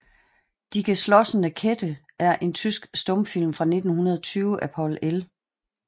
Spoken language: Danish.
Die Geschlossene Kette er en tysk stumfilm fra 1920 af Paul L